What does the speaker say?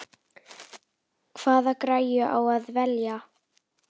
Hvaða græju á að velja?